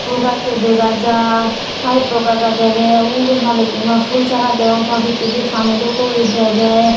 phul gacho degajai payeppo ekka ekka dege ubot malikkima phul sara deong ta picchedi paani dokke uri dege.